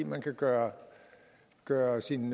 man kan gøre gøre sin